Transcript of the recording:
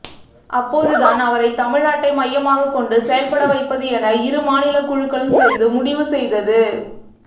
அப்போது தான் அவரை தமிழ்நாட்டை மையமாகக் கொண்டு செயல்பட வைப்பது என இரு மாநிலக் குழுக்களும் சேர்ந்து முடிவு செய்தது